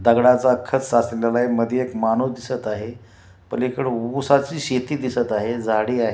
दगडाचा खच साचलेला आहे मध्ये एक माणूस दिसत आहे पलीकडे उसाची शेती दिसत आहे झाडी आहे.